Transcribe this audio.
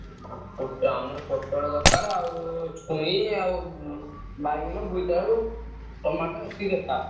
ଆମର ପୋଟଳ ଦରକାର ଆଉ ଛୁଇଁ, ବାଇଗଣ, ବୋଇତାଳୁ, ତମତ୍ୟ ଏତିକି ଦରକାର।